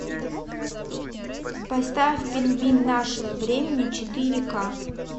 поставь пингвин нашего времени четыре ка